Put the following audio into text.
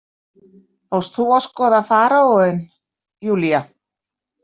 Fórst þú að skoða faraóinn, Júlía?